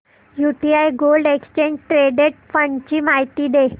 UTI gold exchange traded fund ची माहिती दे